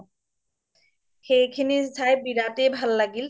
সেইখিনি চাই বিৰাতেই ভাল লাগিল